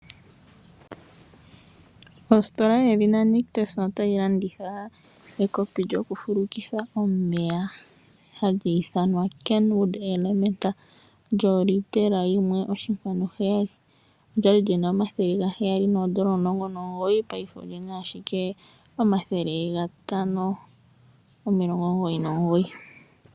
Ostola yoNictus otayi landitha ekopi lyokufulukitha omeya hali ithanwa Kenwood Elementa lyolitela yimwe, oshinkwanu heyali. Olya li li na omathele gaheyali nomulongo nomugoyi, paife oli na ashike omathele gatano nomilongo omugoyi nomugoyi.